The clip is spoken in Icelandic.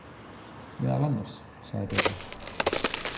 Meðal annars, sagði Bjarni.